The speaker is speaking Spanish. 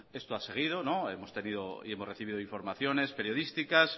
esto ha seguido hemos tenido y hemos recibido informaciones periodísticas